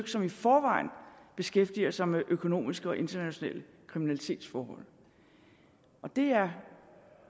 som i forvejen beskæftiger sig med økonomiske og internationale kriminalitetsforhold og det er